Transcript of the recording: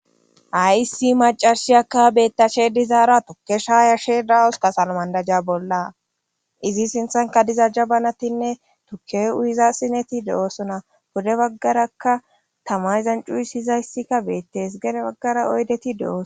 ayisi macashiyakka beettashe dizaara tokkesha yashe dawus ka salmandajja bolla izi sinthanka diza j abanatinne tuke uyiza sineti de7oosona bode baggaraka tama izan cuyisyizayssikka beettees gene baggara oydeti de7oos